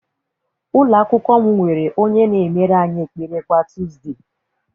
Ụlọakwụkwọ m nwere onye na-emere anyị ekpere kwa tọọzde.